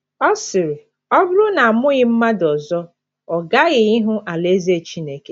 Ọ sịrị: “ Ọ bụrụ na a mụghị mmadụ ọzọ, ọ gaghị ịhụ alaeze Chineke. ”